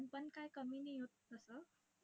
आपण काही कमी नाहीओत तसं.